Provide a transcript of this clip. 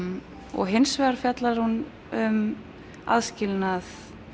og hins vegar fjallar hún um aðskilnað